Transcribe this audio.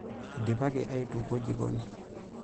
Eidipaki aitukuo jikoni.